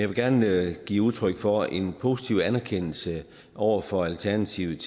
vil gerne give udtryk for en positiv anerkendelse over for alternativet